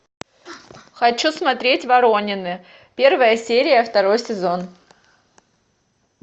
хочу смотреть воронины первая серия второй сезон